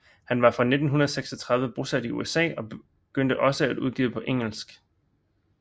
Han var fra 1936 bosat i USA og begyndte også at udgive på engelsk